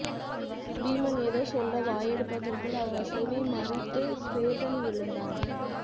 பீமன் ஏதோ சொல்ல வாயெடுப்பதற்குள் அவ்வசைவை மறித்து ஸ்வேதன் எழுந்தான்